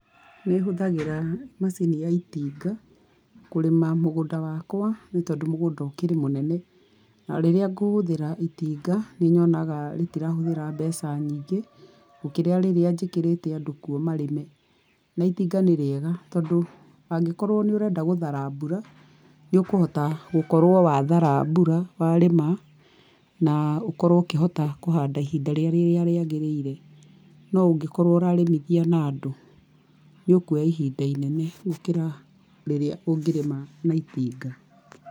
Nĩhũthagĩra macini ya itinga kũrĩma mũgũnda wakwa nĩ tondũ mũgũnda ũkĩrĩ mũnene na rĩrĩa ngũhũthira itinga nĩnyonaga rĩtirahũthĩra mbeca nyingĩ gũkĩra rĩrĩa njĩkĩrĩte andũ kuo marĩme, na itinga nĩrĩega tondũ angĩkorwo nĩ ũrenda gũthara mbura nĩũkũhota gũkorwo wathara mbura warĩma, na ũkorwo ũkĩhota kũhanda ihinda rĩrĩa rĩagĩrĩire no ũngĩkorwo ũrarĩmithia na andũ nĩũkuoya ihinda inene gũkĩra rĩrĩa ũngĩrĩma na itinga.